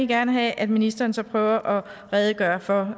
gerne have at ministeren så prøver at redegøre for